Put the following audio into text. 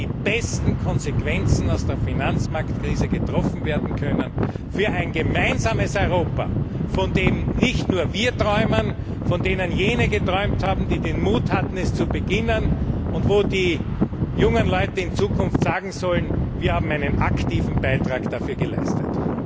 die besten Konsequenzen aus der Finanzmarktkrise gezogen werden können für ein gemeinsames Europa, von dem nicht nur wir träumen, sondern von dem auch jene geträumt haben, die den Mut hatten, es zu beginnen, und von dem die jungen Leute in Zukunft sagen sollen Wir haben einen aktiven Beitrag dafür geleistet.